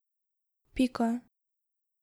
Pika.